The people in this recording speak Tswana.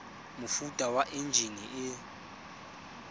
mofuta wa enjine e e